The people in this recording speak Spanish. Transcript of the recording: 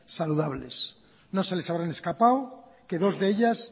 saludables no se les habrá escapado que dos de ellas